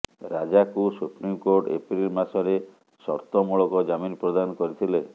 ରାଜାକୁ supreme court April ମାସରେ ସର୍ତ୍ତମୂଳକ ଜାମିନ ପ୍ରଦାନ କରିଥିଲେ